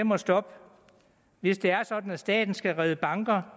må stoppe hvis det er sådan at staten skal redde banker